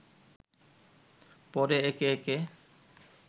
পরে একে একে